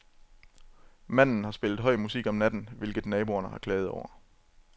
Manden har spillet høj musik om natten, hvilket naboerne har klaget over.